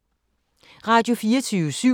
Radio24syv